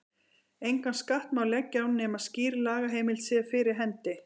Engan skatt má leggja á nema skýr lagaheimild sé fyrir hendi.